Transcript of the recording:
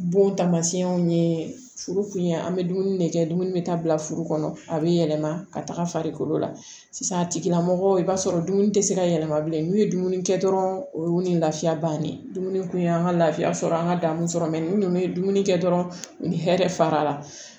Bon taamasiyɛnw ye furu kun ye an bɛ dumuni de kɛ dumuni bɛ taa bila furu kɔnɔ a bɛ yɛlɛma ka taga farikolo la sisan tigilamɔgɔw i b'a sɔrɔ dumuni tɛ se ka yɛlɛma bilen n'u ye dumuni kɛ dɔrɔn o ni lafiya bannen dumuni kun ye an ka laafiya sɔrɔ an ka danniw sɔrɔ ni ninnu ye dumuni kɛ dɔrɔn u ni hɛrɛ fara la